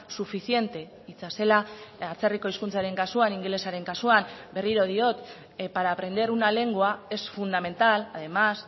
suficiente hitza zela atzerriko hizkuntzaren kasuan ingelesaren kasuan berriro diot para aprender una lengua es fundamental además